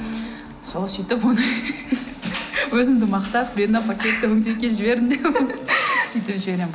сол сөйтіп оны өзімді мақтап мен мына пакетті өңдеуге жібердім деп сөйтіп жіберемін